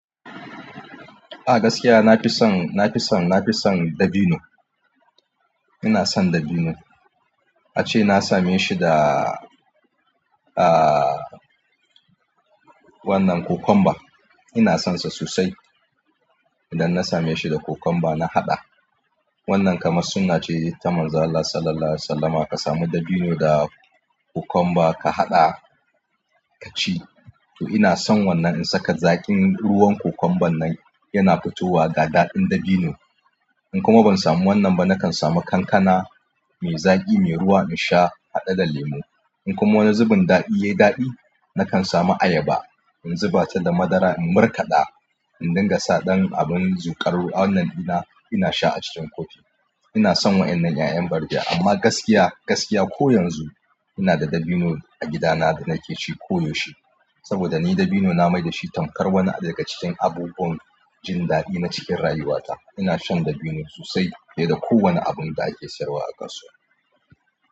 A gaskiya na fi son dabino. Ina son dabino. Ace na same shi da, ah, wannan cucumber. Ina son sa sosai. Idan na same shi da cucumber na haɗa. Wannan kamar sunna ce ta Manzon Allah Sallallahu Alaihi Wasallama ka samu dabino da cucumber ka haɗa ka ci. To ina son wannan in saka zaƙin ruwan cucumber nan yana fitowa ga daɗin dabino. In kuma ban samu wannan ba, na kan samu kankana mai zaƙi, mai ruwa in sha haɗe da lemo. In kuma wani zubin daɗi ya yi daɗi, na kan samu ayaba in zuba ta da madara in markaɗa, in dinga sa ɗan abin zuƙarwa. Wannan ina, ina sha a cikin kofi. Ina son waɗannan 'ya'yan barbiya amma gaskiya, gaskiya ko yanzu ina da dabino a gida na da nake ci koyaushe. Saboda ni dabino na mai da shi tamkar wani daga cikin abubuwan jin daɗi na cikin rayuwata. Ina shan dabino sosai fiye da kowane abun da ake sayarwa a kasuwa.